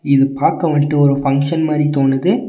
இது பாக்க வன்ட்டு ஒரு பங்க்ஷன் மாரி தோணுது.